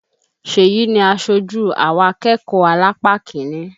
Ṣeyì ni aṣojú àwa akẹ́kọ̀ọ́ alápá kiní